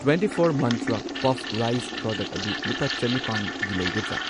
Twenty four ꯃꯟꯇ꯭ꯔ ꯄꯐ ꯔꯥꯏꯁ ꯄ꯭ꯔꯗꯛ ꯑꯗꯨ ꯂꯨꯄꯥ ꯆꯅꯤꯄꯥꯟꯒꯤ ꯂꯩꯒꯗ꯭ꯔꯥ?